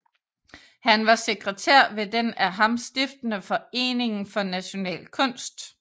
Han var sekretær ved den af ham stiftede Foreningen for National Kunst